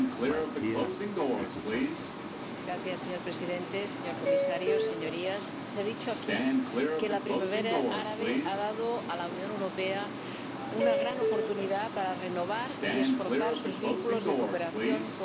Señor Presidente, señor Comisario, Señorías, se ha dicho aquí que la primavera árabe ha dado a la Unión Europea una gran oportunidad para renovar y reforzar sus vínculos de cooperación con los países vecinos del sur del Mediterráneo.